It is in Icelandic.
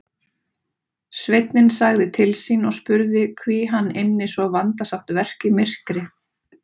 Sveinninn sagði til sín og spurði hví hann ynni svo vandasamt verk í myrkri.